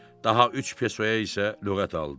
Daha üç pesoya isə lüğət aldı.